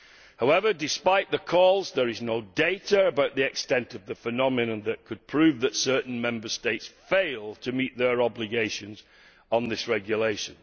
However, despite the calls, there is no data about the extent of the phenomenon that could prove that certain Member States fail to meet their obligations on this regulation.